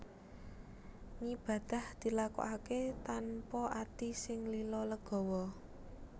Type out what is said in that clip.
Ngibadah dilakokaké tanpa ati sing lila legawa